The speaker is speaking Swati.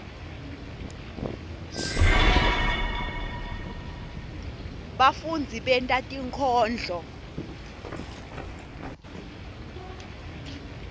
bafundzi benta tinkondlo